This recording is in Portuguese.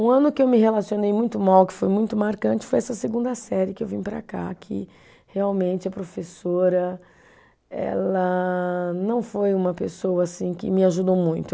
Um ano que eu me relacionei muito mal, que foi muito marcante, foi essa segunda série que eu vim para cá, que realmente a professora ela não foi uma pessoa assim que me ajudou muito.